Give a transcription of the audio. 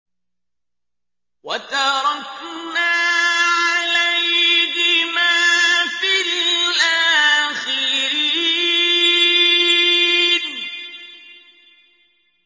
وَتَرَكْنَا عَلَيْهِمَا فِي الْآخِرِينَ